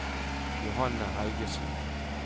Johanne Helgesen